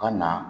Ka na